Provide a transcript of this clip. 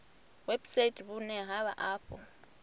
website vhune ha vha afho